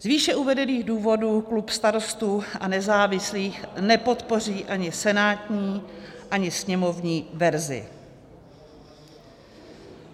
Z výše uvedených důvodů klub Starostů a nezávislých nepodpoří ani senátní, ani sněmovní verzi.